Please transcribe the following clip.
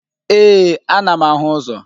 Ee, anam ahu uzo.